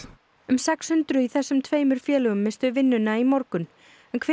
um sex hundruð í þessum tveimur félögum misstu vinnuna í morgun hver